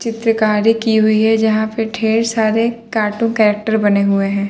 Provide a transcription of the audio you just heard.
चित्रकारी की हुई है जहाँ पे ढेर सारे कार्टून कैरेक्टर बने हुए हैं।